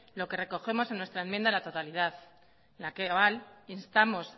lo que recogemos en nuestra enmienda a la totalidad en la instamos